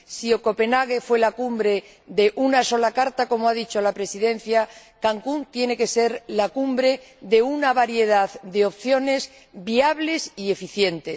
Si Copenhague fue la Cumbre de una sola carta como ha dicho la Presidenta Cancún tiene que ser la cumbre de una variedad de opciones viables y eficientes.